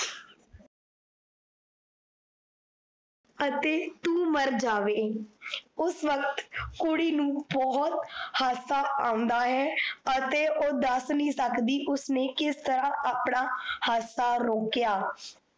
ਅਤੇ ਤੂ ਮਰ ਜਾਵੇ। ਉਸ ਵੱਕਤ ਕੁੜੀ ਨੂੰ ਬਹੁਤ ਹਾਸਾ ਆਉਂਦਾ ਹੈ, ਅਤੇ ਓਹ ਦੱਸ ਨਹੀਂ ਸਕਦੀ ਉਸਨੇ ਕਿਸ ਤਰਾਂ ਆਪਣਾ ਹੱਸਾ ਰੋਕਿਆ ।